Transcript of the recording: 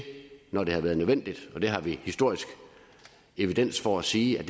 når det har været nødvendigt og det har vi historisk evidens for at sige at